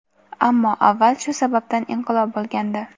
Ammo avval shu sababdan inqilob bo‘lgandi.